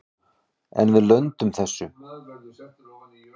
En við lönduðum þessu.